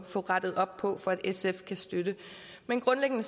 få rettet op på for at sf kan støtte men grundlæggende